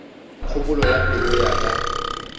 kgopolo ya pelo ya ka